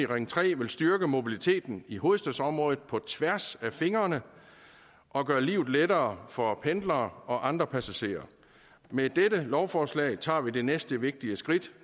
på ring tre vil styrke mobiliteten i hovedstadsområdet på tværs af fingrene og gøre livet lettere for pendlere og andre passagerer med dette lovforslag tager vi det næste vigtige skridt